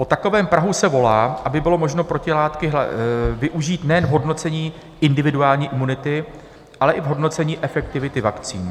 Po takovém prahu se volá, aby bylo možno protilátky využít nejen v hodnocení individuální imunity, ale i v hodnocení efektivity vakcín.